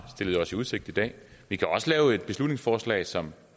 stillet os i udsigt i dag vi kan også fremsætte et beslutningsforslag som